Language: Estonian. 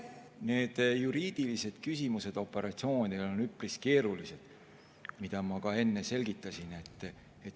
Need juriidilised küsimused on operatsioonidel üpris keerulised, mida ma ka enne selgitasin.